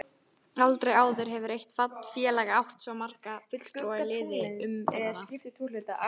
Aldrei áður hefur eitt félag átt svo marga fulltrúa í liði umferðanna.